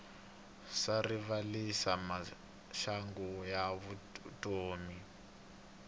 swa rivalisa maxangu ya vutomi